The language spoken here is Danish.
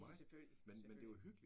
Ja selvfølgelig. Selvfølgelig